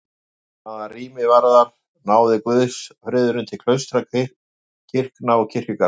Hvað rými varðar náði guðsfriðurinn til klaustra, kirkna og kirkjugarða.